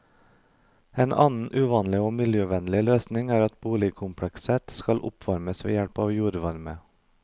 En annen uvanlig og miljøvennlig løsning er at boligkomplekset skal oppvarmes ved hjelp av jordvarme.